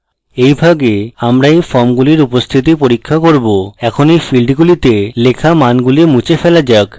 in ভাগে আমরা in ফর্মগুলির উপস্থিতি পরীক্ষা করব in in ফীল্ডগুলিতে লেখা মানগুলি মুছে ফেলা যাক